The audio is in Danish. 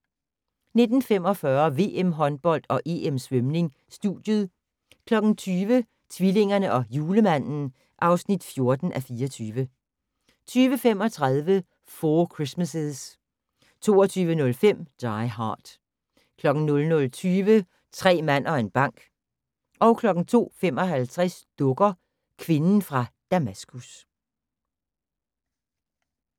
19:45: VM-håndbold og EM Svømning: Studiet 20:00: Tvillingerne og Julemanden (14:24) 20:35: Four Christmases 22:05: Die Hard 00:20: Tre mand og en bank 02:55: Dukker - kvinden fra Damaskus